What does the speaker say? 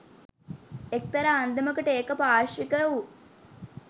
එක්තරා අන්දමකට ඒක පාර්ශ්වික වූ